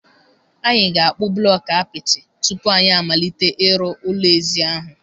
Anyị ga-akpụ blọkụ apịtị tupu anyị amalite ị rụ ụlọ ezi ahụ.